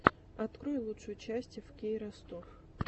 открой лучшую часть эфкей ростов